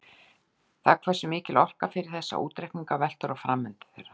Það hversu mikil orka fer í þessa útreikninga veltur á framvindu þeirra.